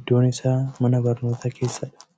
Iddoon isaa mana barnootaa keessadha.